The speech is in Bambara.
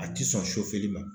A ti sɔn li ma.